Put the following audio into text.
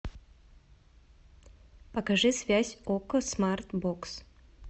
покажи связь окко смарт бокс